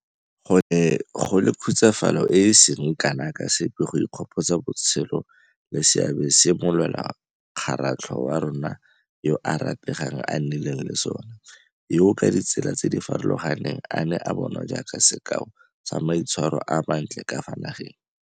Go ne go le khutsafalo e e seng kana ka sepe go ikgopotsa botshelo le seabe se molwelakgaratlho wa rona yo a rategang a nnileng le sona, yo ka ditsela tse di farologaneng a neng a bonwa jaaka sekao sa maitshwaro a mantle ka fa nageng.